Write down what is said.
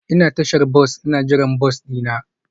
Ina a tashar bas ina jiran bas dina.